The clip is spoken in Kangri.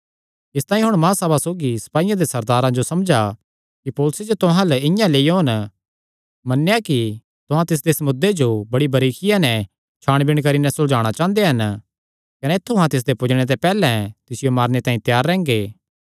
इसतांई हुण महासभा सौगी सपाईयां दे सरदारे जो समझा कि पौलुसे जो तुहां अल्ल इआं लेई ओन मन्नेया कि तुहां तिसदे इस मुद्दे जो बड़ी बरीकिया नैं छाणबीण करी नैं सुलझाणा चांह़दे हन कने ऐत्थु अहां तिसदे पुज्जणे ते पैहल्लैं तिसियो मारने तांई त्यार रैंह्गे